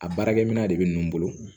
A baarakɛminɛn de bɛ n bolo